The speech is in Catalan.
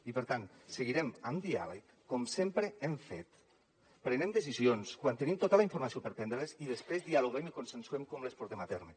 i per tant seguirem amb diàleg com sempre hem fet prenent decisions quan tenim tota la informació per prendre les i després dialoguem i consensuem com les portem a terme